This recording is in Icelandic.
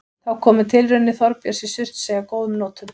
Þá komu tilraunir Þorbjörns í Surtsey að góðum notum.